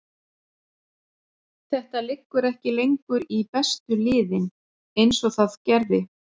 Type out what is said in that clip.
Þetta liggur ekki lengur í bestu liðin eins og það gerði.